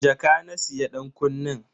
Jaka na siya dankunnen.